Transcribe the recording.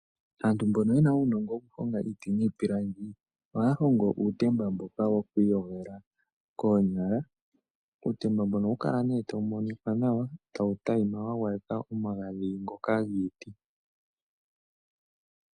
Aantu mbono yena uunongo woku honga iiti niipilangi ohaa hongo uutemba mboka woku iyogela koonyala uutemba mboka ohawu kala nee tawu monika nawa tawu tayima wa gwayekwa omagadhi ngoka giiti.